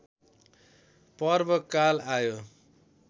पर्वकाल आयो